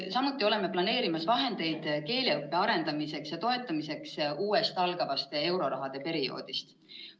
Samuti oleme planeerimas vahendeid keeleõppe arendamiseks ja toetamiseks uuest algavast eurorahade perioodist.